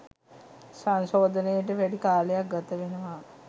සංශෝධනයට වැඩි කාලයක් ගතවෙනවා